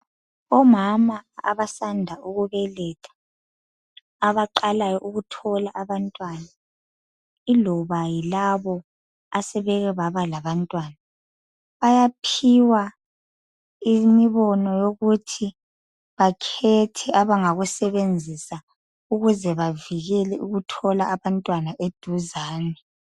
Omama abasanda ukubetha abaqalayo ukuthola abantwana iloba yilabo asebeke babalabantwana bayaphiwa imibono yokuthi bakhethe abangayisebenzisa ukuze bavikele ukuthola abantwana eduzane.